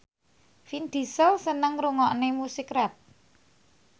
Vin Diesel seneng ngrungokne musik rap